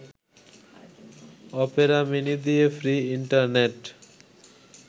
Opera Mini দিয়ে free internet